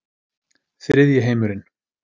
Þriðji heimurinn